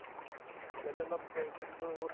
আজি কালিতো অলপ এই খেলটো